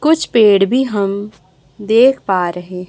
कुछ पेड़ भी हम देख पा रहे--